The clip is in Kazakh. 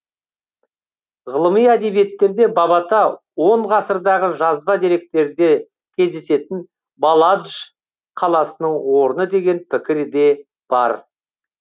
ғылыми әдебиеттерде бабата он ғасырдағы жазба деректерде кездесетін баладж қаласының орны деген пікір де бар